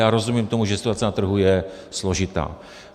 Já rozumím tomu, že situace na trhu je složitá.